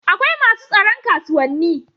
akwai masu tsaron kasuwanni